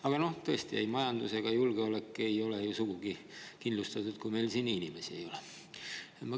Aga tõesti, majandus ja julgeolek ei ole ju sugugi kindlustatud, kui meil siin inimesi ei ole.